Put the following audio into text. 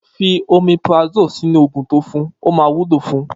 Fi omeprazole sinu ogun to fún, ọ ma wúlò fún